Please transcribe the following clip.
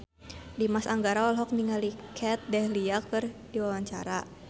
Dimas Anggara olohok ningali Kat Dahlia keur diwawancara